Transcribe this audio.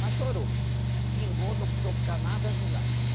Mas chorou, vingou, não precisou ficar nada de lá.